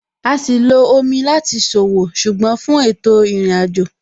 A sì lo omi láti ṣòwò, ṣùgbọ́n fún ètò ìrìnàjò.